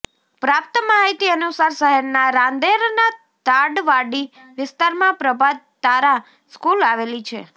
પ્રાપ્ત માહિતી અનુસાર શહેરના રાંદેરના તાડવાડી વિસ્તારમાં પ્રભાત તારા સ્કૂલ આવેલી છે